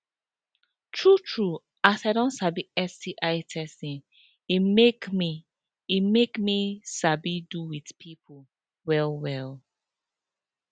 true true as i don sabi sti testing e make e make me sabi do with people well well